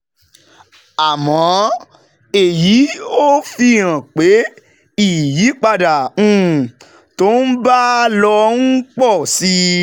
Àmọ́, èyí ò fi hàn pé ìyípadà um tó ń bá a lọ ń pọ̀ sí i,